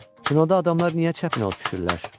Kinoda adamlar niyə çəpinə düşürlər?